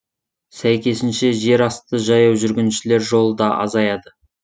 сәйкесінше жер асты жаяу жүргіншілер жолы да азаяды